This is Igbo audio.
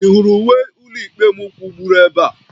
Ị hụrụ uwe ụlọikpe m kwụgburu ebe a?